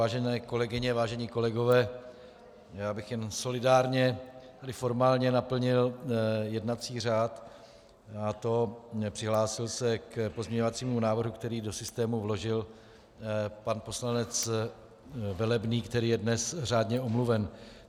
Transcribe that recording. Vážené kolegyně, vážení kolegové, já bych jen solidárně i formálně naplnil jednací řád, a to přihlásil se k pozměňovacímu návrhu, který do systému vložil pan poslanec Velebný, který je dnes řádně omluven.